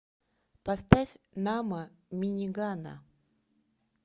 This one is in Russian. поставь намо минигана